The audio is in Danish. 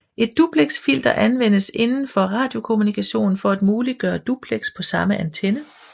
Et duplexfilter anvendes indenfor radiokommunikationen for at muliggøre duplex på samme antenne